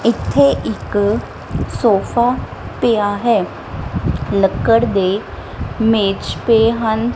ਇਥੇ ਇੱਕ ਸੋਫਾ ਪਿਆ ਹੈ ਲੱਕੜ ਦੇ ਮੇਜ ਪਏ ਹਨ।